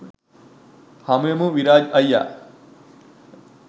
හමුවෙමු විරාජ් අයියා.